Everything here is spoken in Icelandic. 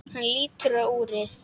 Hann lítur á úrið.